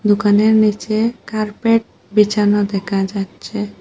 দোকানের নিচে কার্পেট বিছানো দেখা যাচ্ছে।